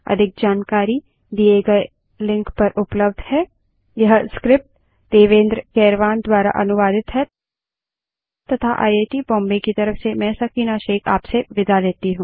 अधिक जानकारी दिए गए लिंक पर उपलब्ध है httpspoken tutorialorgNMEICT Intro यह स्क्रिप्ट देवेन्द्र कैरवान द्वारा अनुवादित है तथा आई आई टी बॉम्बे की तरफ से मैं सकीना अब आप से विदा लेती हूँ